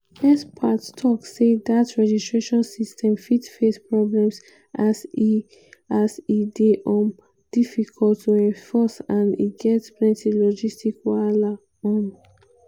experts tok say dat registration system fit face problems as e as e dey um difficult to enforce and e get plenty logistic wahala. um